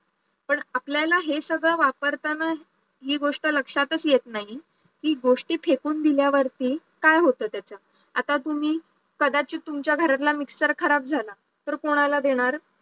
पण आपल्याला हे सगळं वापरताना हि गोष्ट लक्षातच येत नाही कि गोष्टी फेकून दिल्यावरती काय होत त्याच आता तुम्ही कदाचित तुमच्या घरचा mixer खराब झाला तर कोणाला देणार